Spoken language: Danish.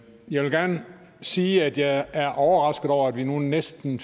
jeg vil gerne sige at jeg er overrasket over at vi nu i næsten